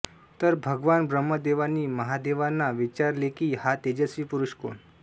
तर भगवान ब्रह्मदेवांनी महादेवांना विचारलेकी हा तेजस्वी पुरुष कोण